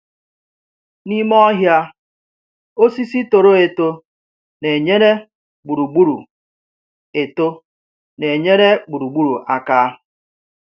N’ime ọhịa, osisi toro eto na-enyere gburugburu eto na-enyere gburugburu aka.